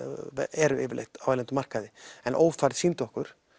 eru yfirleitt á erlendum markaði en ófærð sýndi okkur